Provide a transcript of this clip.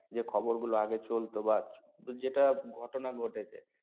যে খবর গুলো আগে চলত বা যেটা ঘটনা ঘটেছে